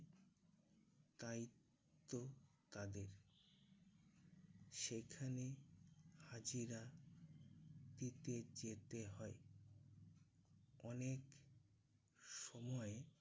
দায়িত্ব তাদের। সেখানে হাজিরা দিতে যেতে হয়। অনেক সময়